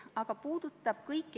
Aitäh!